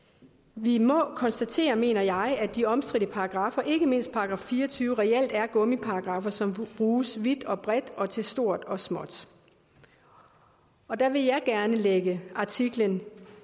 vi må konstatere mener jeg at de omstridte paragraffer ikke mindst § fire og tyve reelt er gummiparagraffer som bruges vidt og bredt og til stort og småt og der vil jeg gerne lægge artiklerne